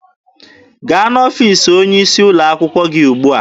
Gaa n'ọfiisi onye isi ụlọ akwụkwọ gị ugbua!